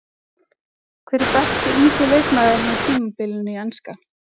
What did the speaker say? Hver er besti ungi leikmaðurinn á tímabilinu í enska?